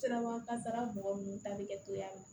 Sirabakan kasara mɔgɔ minnu ta bɛ kɛ togoya min na